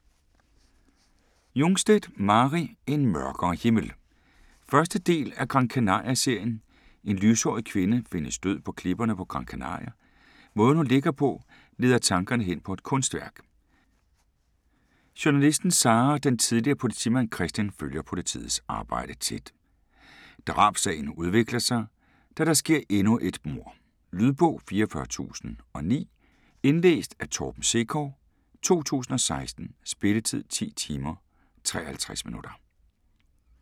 Jungstedt, Mari: En mørkere himmel 1. del af Gran Canaria serien. En lyshåret kvinde findes død på klipperne på Gran Canaria. Måden hun ligger på, leder tankerne hen på et kunstværk. Journalisten Sara og den tidligere politimand Kristian følger politiets arbejde tæt. Drabssagen udvikler sig, da der sker endnu et mord. Lydbog 44009 Indlæst af Torben Sekov, 2016. Spilletid: 10 timer, 53 minutter.